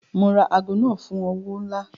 Mo ra aago náà fún owó ńlá.